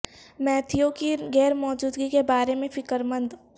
Matthew کی غیر موجودگی کے بارے میں فکر مند